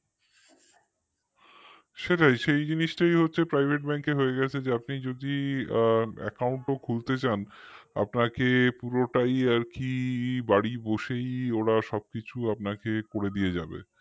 সেটাই সেই জিনিসটাই private bank র হয়ে গেছে যে আপনি যদি আ account ও খুলতে চান আপনি কি পুরোটাই আর কি বাড়ি বসেই ওরা সব কিছু আপনাকে করে দিয়ে যাবে